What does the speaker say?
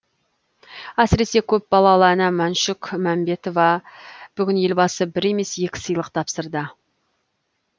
әсіресе көпбалалы ана мәншүк мәмбетоваға бүгін елбасы бір емес екі сыйлық тапсырды